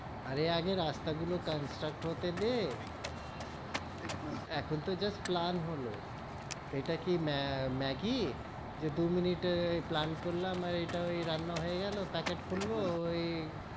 আরে, আগে রাস্তা গুলো construct হতে দে, এখন তো just plan হলো, এটা কি মে~ ম্যাগি, যে দু মিনিটে plan করলাম, আর ইটা ওই রান্না হয়ে গেলো packet খুললো ওই,